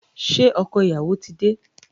Ṣé ọkọ ìyàwó ti dé?